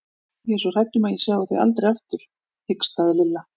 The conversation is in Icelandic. Ég er svo hrædd um að ég sjái þau aldrei aftur hikstaði Lilla.